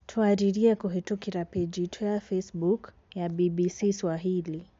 Twaririe kũhitũkira peji itũ ya Facebook, ya BBCSwahili.